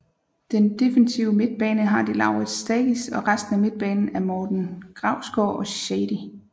Den defensive midtbane har de Laurits Stagis og resten af midtbanen er Morten Grausgaard og Shadi